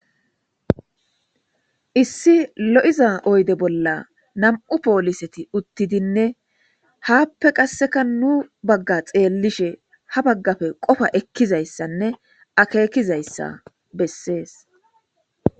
issi lo7iza oyde bolla nam7u pooliseti uttidinne haappe qasseka nu bagga xeellishe ha baggafe qofa ekkizayssanne akekizayssa bessees